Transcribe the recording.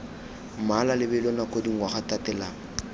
mmala lebelo nako dingwaga tatelano